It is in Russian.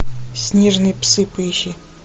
снежные псы поищи